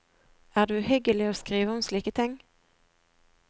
Er det uhyggelig å skrive om slike ting?